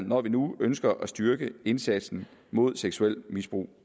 når vi nu ønsker at styrke indsatsen mod seksuelt misbrug